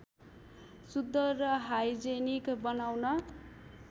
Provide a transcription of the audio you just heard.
शुद्ध र हाइजेनिक बनाउन